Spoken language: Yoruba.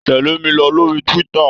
Tẹ̀lé mi lórí Twitter.